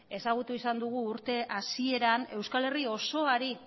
ezagutu izan dugu urte hasieran euskal herri osoari